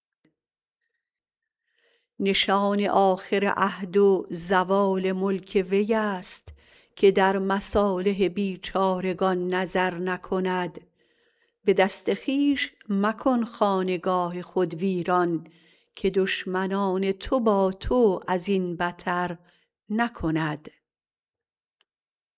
نشان آخر عهد و زوال ملک ویست که در مصالح بیچارگان نظر نکند به دست خویش مکن خانگاه خود ویران که دشمنان تو با تو ازین بتر نکند